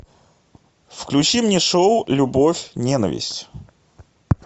включи мне шоу любовь ненависть